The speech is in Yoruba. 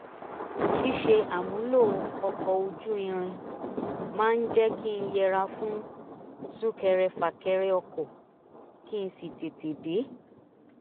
ṣíṣe àmúlò ọkọ̀ ojú irin máa ń jẹ́ kí n yẹra fún súnkẹrẹfàkẹrẹ ọkọ̀ kí n sì tètè dé